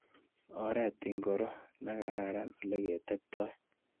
Oret ingoro nekararan oleketeptoi.